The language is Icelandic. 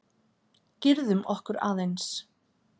Girðum okkur aðeins!